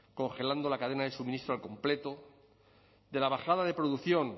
congelando la cadena de suministro al completo de la bajada de producción